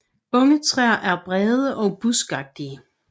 Unge træer er brede og buskagtige